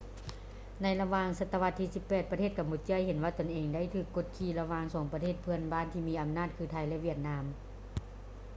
ໃນລະຫວ່າງສະຕະວັດທີ 18 ປະເທດກຳປູເຈຍເຫັນວ່າຕົນເອງໄດ້ຖືກກົດຂີ່ລະຫວ່າງສອງປະເທດເພື່ອນບ້ານທີ່ມີອຳນາດຄື ໄທ ແລະ ຫວຽດນາມ